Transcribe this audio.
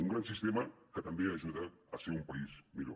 un gran sistema que també ajuda a ser un país millor